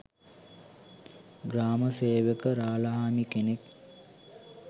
ග්‍රාම සේවක රාලහාමි කෙනෙක්.